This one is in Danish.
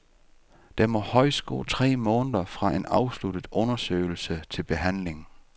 Der må højst gå tre måneder fra en afsluttet undersøgelse til behandling.